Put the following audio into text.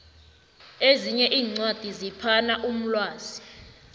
ezinye iincwadi ziphana umlwazi